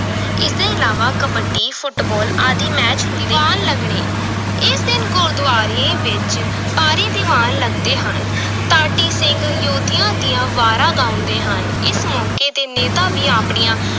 ਇਸਦੇ ਇਲਾਵਾ ਕਬੱਡੀ ਫੁਟਬਾਲ ਆਦਿ match ਹੁੰਦੇ, ਦੀਵਾਨ ਲੱਗਣੇ ਇਸ ਦਿਨ ਗੁਰਦੁਆਰੇ ਵਿਚ ਭਾਰੀ ਦੀਵਾਨ ਲਗਦੇ ਹਨ ਢਾਡੀ ਸਿੰਘ ਯੋਧਿਆਂ ਦੀਆਂ ਵਾਰਾਂ ਗਾਉਂਦੇ ਹਨ, ਇਸ ਮੌਕੇ ਤੇ ਨੇਤਾ ਵੀ ਆਪਣੀਆਂ